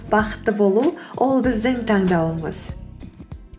бақытты болу ол біздің таңдауымыз